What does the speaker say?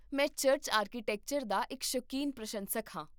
ਮੈਂ church architecture ਦਾ ਇੱਕ ਸ਼ੌਕੀਨ ਪ੍ਰਸ਼ੰਸਕ ਹਾਂ